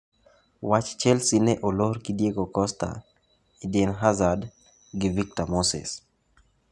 Wach Chelsea ne olor gi Diego Costa, Eden Hazard gi Victor Moses.